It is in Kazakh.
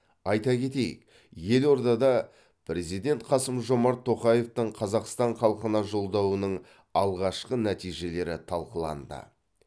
айта кетейік елордада президент қасым жомарт тоқаевтың қазақстан халқына жолдауының алғашқы нәтижелері талқыланды